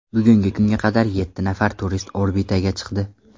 Bugungi kunga qadar yetti nafar turist orbitaga chiqdi.